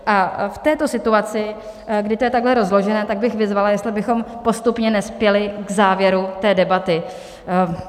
A v této situaci, kdy je to takto rozložené, tak bych vyzvala, jestli bychom postupně nespěli k závěru té debaty.